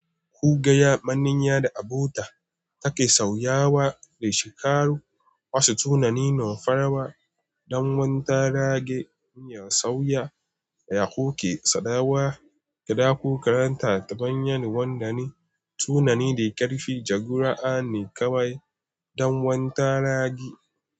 Ku gaya maniya da abota take sauyawa da shika ru wasu tunani nufarawa don wanda rage sauya ya koke sadawa. Kada ku karanta ta bayan wanda ne tunani da karfi jagora ne kawai don wanda ragi.